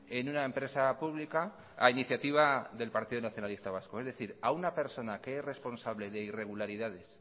en una empresa pública a iniciativa del partido nacionalista vasco es decir a una persona que es responsable de irregularidades